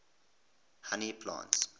honey plants